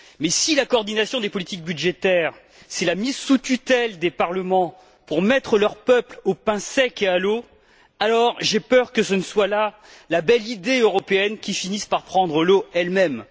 Mais si la coordination des politiques budgétaires, c'est la mise sous tutelle des parlements pour mettre leurs peuples au pain sec et à l'eau, alors j'ai peur que ce ne soit là la belle idée européenne qui finisse par prendre l'eau elle même.